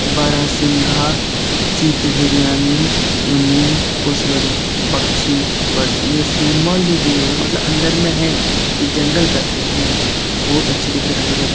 बारहसिंघा चीत हिरयानी emu cassowary पक्षी बर्ड्स ये सिंबल जो दिए हुए है मतलब अंदर में है ये जंगल का सीन है बहुत अच्छे दिख रहे है हरे-हरे --